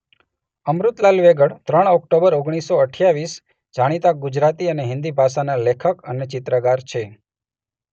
અમૃતલાલ વેગડ ત્રણ ઓક્ટોબર ઓગણીસ સો અઠ્યાવીસ જાણીતા ગુજરાતી અને હિંદી ભાષાના લેખક અને ચિત્રકાર છે.